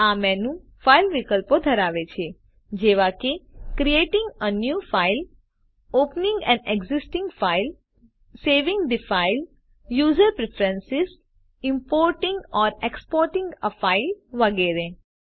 આ menu file વિકલ્પો ધરાવે છે જેવા કે creating a new file opening an existing file saving the file user preference importing or exporting a file વગેરે